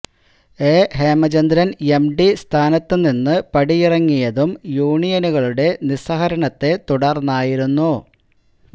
A Hemachandran M D സ്ഥാനത്തു നിന്ന് പടിയിറങ്ങിയതും യൂനിയനുകളുടെ നിസ്സഹകരണത്തെ തുടര്ന്നായിരുന്നു